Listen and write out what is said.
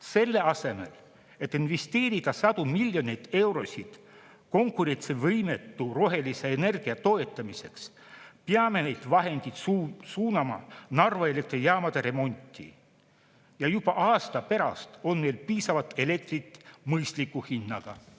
Selle asemel, et investeerida sadu miljoneid eurosid konkurentsivõimetu rohelise energia toetamiseks, peame need vahendid suunama Narva elektrijaamade remonti, ja juba aasta pärast oleks meil piisavalt elektrit mõistliku hinnaga.